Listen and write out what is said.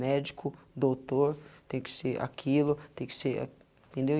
Médico, doutor, tem que ser aquilo, tem que ser... Entendeu?